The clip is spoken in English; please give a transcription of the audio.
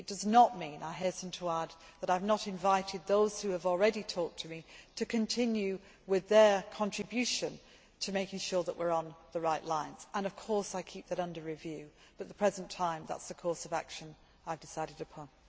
It does not mean, I hasten to add, that I have not invited those who have already talked to me to continue with their contribution to making sure that we are on the right lines, and, of course, I keep it under review, but at the present time, that is the course of action I have decided upon.